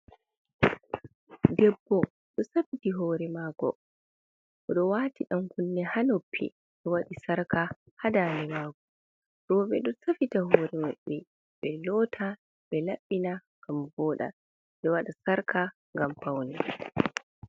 debbo ɗo safiti hore mako oɗo wati dan kunne ha noppi oɗo wadɗi sarka ha dade mako, roɓɓe ɗo safita hore maɓbe ɓe lota ɓe labbina ngam voɗɗa ɓeɗo waɗa sarka gam faune.